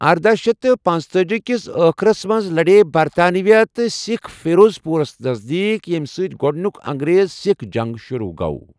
ارداہ شیتھ تہٕ پنتأجی كِس ٲخرس منز لڈییہ برطانوی تہٕ سِكھ فیروض پوٗرس نزدیك، یمہِ سۭتۍ گوڈنِیوٗك انگریز سیكھ جنگ شروع گو٘۔